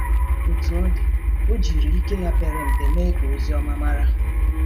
Otú ọ dị, ọ jiri ike ya pere mpe mee ka ozi ọma mara.